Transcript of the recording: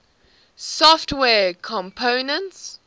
software components